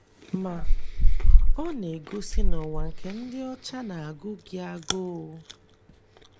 Ma, ọ na - egosi na ụwa nke dị ọcha na - agụ gị agụụ.